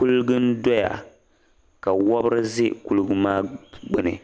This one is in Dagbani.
kuliga n-dɔya ka wabiri za kuliga maa gbuni